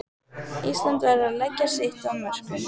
Ísland verður að leggja sitt af mörkum